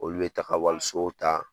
Olu be taka waliso ta